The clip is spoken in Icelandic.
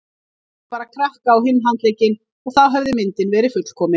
Það vantaði bara krakka á hinn handlegginn og þá hefði myndin verið fullkomin.